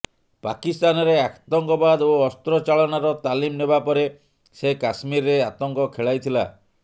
ପାକିସ୍ତାନରେ ଆତଙ୍କବାଦ ଓ ଅସ୍ତ୍ର ଚାଳନାର ତାଲିମ ନେବାପରେ ସେ କାଶ୍ମୀରରେ ଆତଙ୍କ ଖେଳାଇଥିଲା